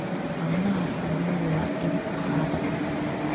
Caanaha xooluhu waa il dhaqaale.